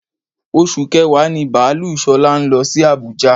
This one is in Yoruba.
Oṣù kẹ̀wá ní baalú Ṣọlá ń lọ sí àbújá.